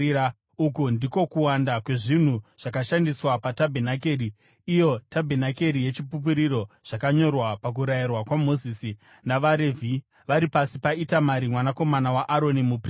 Uku ndiko kuwanda kwezvinhu zvakashandiswa patabhenakeri, iyo tabhenakeri yeChipupuriro, zvakanyorwa pakurayira kwaMozisi navaRevhi vari pasi paItamari mwanakomana waAroni, muprista.